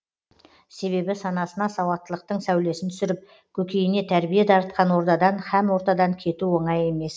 себебі санасына сауаттылықтың сәулесін түсіріп көкейіне тәрбие дарытқан ордадан һәм ортадан кету оңай емес